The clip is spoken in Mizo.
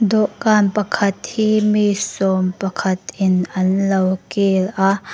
dawhkan pakhat hi mi sawmpakhat in an lo kil a.